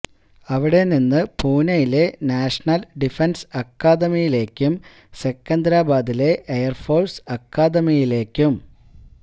അവിടെ നിന്ന് പൂനെയിലെ നാഷണല് ഡിഫന്സ് അക്കാദമിയിലേക്കും സെക്കന്ദ്രാബാദിലെ എയര്ഫോഴ്സ് അക്കാദമിയിലേക്കും